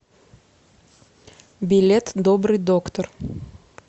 билет добрый доктор